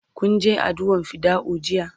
kun Je addu'a r fidda'u jiya?